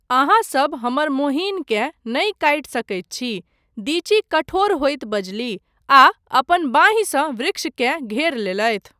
आहाँसब हमर मोहिनकेँ नहि काटि सकैत छी, दीची कठोर होइत बजलीह आ अपन बाँहिसँ वृक्षकेँ घेर लेलथि।